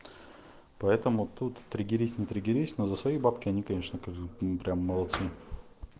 поэтому тут триггерись не триггерись но за свои бабки они конечно скажем прям молодцы